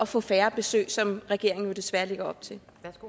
få færre besøg som regeringen jo desværre lægger op til